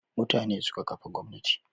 Mutane suka kafa gwamnati